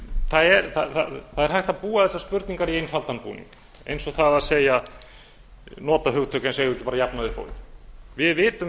það er hægt að búa þessar spurningar í einfaldan búning eins og að nota hugtök eins og við eigum bara að jafna upp á við við vitum